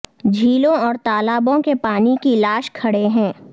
جھیلوں اور تالابوں کے پانی کی لاش کھڑے ہیں